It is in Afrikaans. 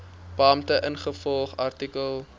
beampte ingevolge artikel